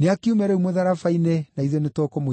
Nĩakiume rĩu mũtharaba-inĩ, na ithuĩ nĩtũkũmwĩtĩkia.